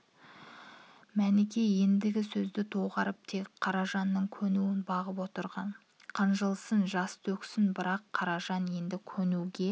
мәніке ендігі сөзді доғарып тек қаражанның көнуін бағып отырған қынжылсын жас төксін бірақ қаражан енді көнуге